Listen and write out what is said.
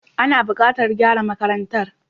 Ana bukatar gyara makarantar.